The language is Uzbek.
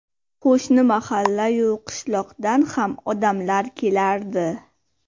Qo‘shni mahallayu qishloqdan ham odamlar kelardi.